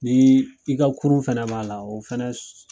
Ni i ka kurun fɛnɛ b'a la, o fɛnɛ su